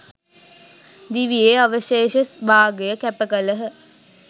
දිවියේ අවශේෂ භාගය කැප කළහ.